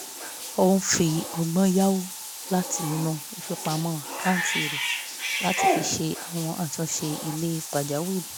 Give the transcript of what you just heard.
òun fi ọgbọ́n yáwó láti inú ifipamọ àkáǹtì rẹ̀ láti fi ṣe àwọn àtúnṣe ile pàjáwìrì